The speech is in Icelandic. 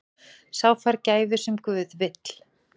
Sá fær gæfu sem guð vill.